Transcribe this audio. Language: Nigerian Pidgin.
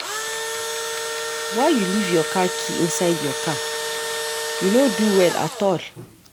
Why you leave your car key inside your car? You no do well at all.